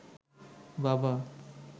বাবা